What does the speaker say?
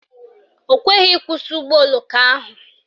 O kweghị ịkwụsị ụgbọoloko ahụ